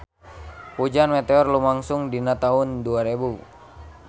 Hujan meteor lumangsung dina taun dua rebu